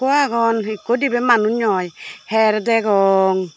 hukko agon ikko dibey manuj noi hyer degong.